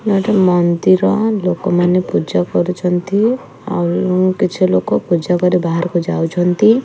ନାଁ ଏଠି ଗୋଟେ ମନ୍ଦିର ଲୋକମାନେ ପୂଜା କରୁଛନ୍ତି। ଆଉ କିଛି ଲୋକ ପୂଜା କରି ବାହାରୁକୁ ଯାଉଛନ୍ତି।